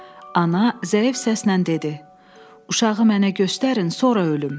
Ana zəif səslə dedi: "Uşağı mənə göstərin, sonra ölüm."